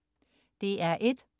DR1: